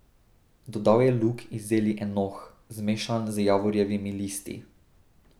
Dodal je lug iz zeli enoh, zmešan z javorjevimi listi.